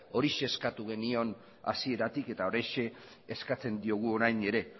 horixe eskatu genion hasieratik eta horixe eskatzen diogu orain ere